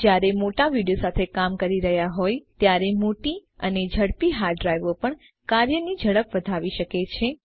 જયારે મોટા વિડિઓ સાથે કામ કરી રહ્યા હોય ત્યારે મોટી અને ઝડપી હાર્ડ ડ્રાઈવો પણ કાર્યની ઝડપ વધાવી શકે છે